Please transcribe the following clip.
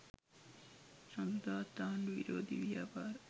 සඳුදාත් ආණ්ඩු විරෝධී ව්‍යාපාර